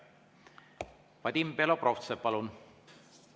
Vadim Belobrovtsev, palun!